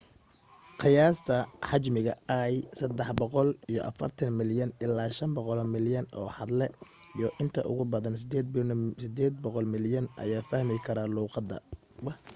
qiyaasta xajmiga l 340 milyan ilaa 500 milyan oo hadle iyo inta ugu badan 800 milyan ayaa fahmi kara luuqada